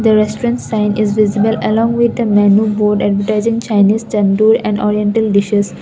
the restaurant sign is visible along with the menu board advertising chinese tandoor and oriental dishes.